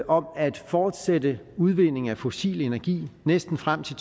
om at fortsætte udvinding af fossil energi næsten frem til